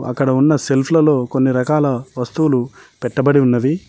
అక్కడ ఉన్న సెల్ఫ్ లలో కొన్ని రకాల వస్తువులు పెట్టబడి ఉన్నవి.